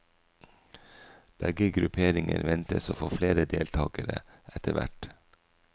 Begge grupperinger ventes å få flere deltagere etterhvert.